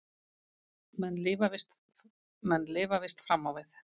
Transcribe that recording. Menn lifa víst fram á við.